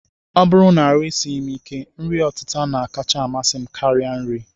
Ọ bụrụ na ahụ esighị m ike, nri ọtịta na-akacha amasị m karịa nri